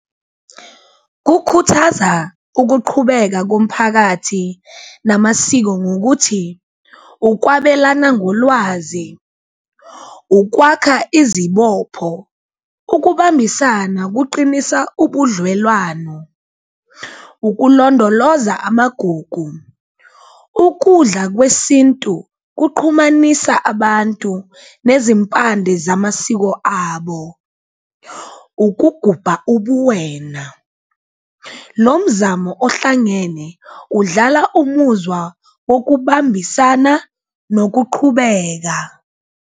Kukhuthaza ukuqhubeka komphakathi namasiko ngokuthi ukwabelana ngolwazi, ukwakha izibopho ukubambisana kuqinisa ubudlelwano, ukulondoloza amagugu, ukudla kwesintu kuqhumanisa abantu nezimpande zamasiko abo. Ukugubha ubuwena, lo mzamo ohlangene udlala umuzwa wokubambisana nokuqhubeka